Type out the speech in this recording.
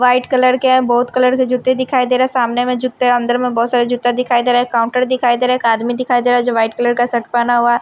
white colour के बहुत colour के जूते दिखाई दे रहा है सामने में जूते अंदर में बहुत सारा जूता दिखाई दे रहा है काउंटर दिखाई दे रहा है एक आदमी दिखाई दे रहा है जो वाइट कलर का शर्ट पहना हुआ--